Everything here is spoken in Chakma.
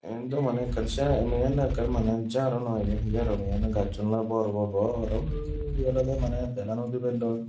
yen daw maneh ekkan sei men daw ekkan maneh jaaro noi iben hiyoe hobey yan gacchun oley bor bor bor undi olodey maneh belano dubelloi.